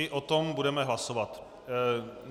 I o tom budeme hlasovat.